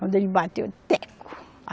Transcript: Quando ele bateu, teco!